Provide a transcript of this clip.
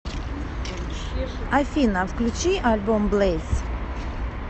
афина включи альбом блэйз